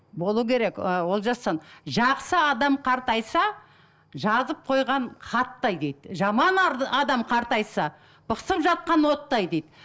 болу керек ы олжасжан жақсы адам қартайса жазып қойған хаттай дейді жаман адам қартайса бықсып жатқан оттай дейді